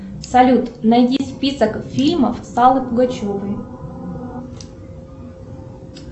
салют найди список фильмов с аллой пугачевой